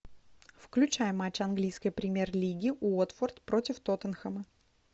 включай матч английской премьер лиги уотфорд против тоттенхэма